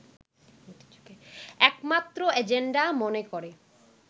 একমাত্র এজেন্ডা মনে করে